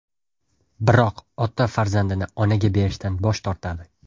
Biroq ota farzandini onaga berishdan bosh tortadi.